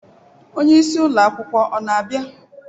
Onye isi ụlọ akwụkwọ ọ na-abịa?